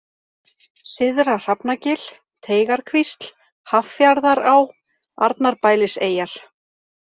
Syðra-Hrafnagil, Teigarkvísl, Haffjarðará, Arnarbæliseyjar